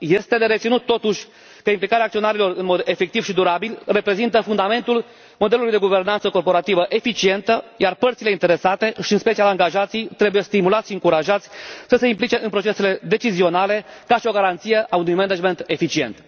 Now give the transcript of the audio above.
Este de reținut, totuși, că implicarea acționarilor în mod efectiv și durabil reprezintă fundamentul modelului de guvernanță corporativă eficientă, iar părțile interesate, și în special angajații, trebuie stimulați și încurajați să se implice în procesele decizionale ca și o garanție a unui management eficient.